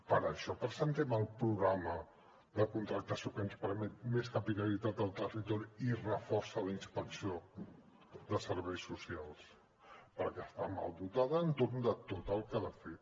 per això presentem el programa de contractació que ens permet més capil·laritat al territori i reforça la inspecció de serveis socials perquè està mal dotada per a tot el que ha de fer